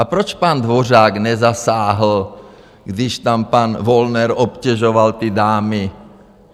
A proč pan Dvořák nezasáhl, když tam pan Wollner obtěžoval ty dámy?